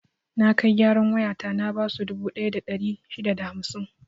Na kai gyaran wayata na basu dubu ɗaya da ɗari shida da hamsin.